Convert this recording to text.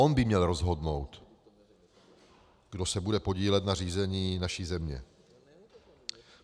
On by měl rozhodnout, kdo se bude podílet na řízení naší země.